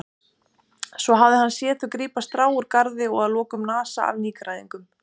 Svo hafði hann séð þau grípa strá úr garða og að lokum nasa af nýgræðingnum.